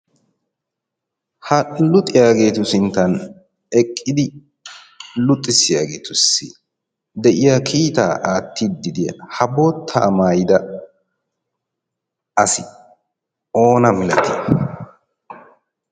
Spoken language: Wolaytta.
ha luxiyaageetu sinttan eqqidi luxxissiyaageetussi de'iya kiitaa aattiiddi de'iya ha bottaa maayida asi oona milatii